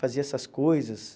Fazia essas coisas.